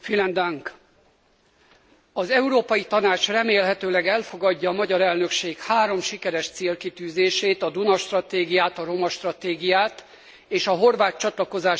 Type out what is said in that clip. Az Európai Tanács remélhetőleg elfogadja a magyar elnökség három sikeres célkitűzését a Duna stratégiát, a romastratégiát és a horvát csatlakozási tárgyalások lezárását.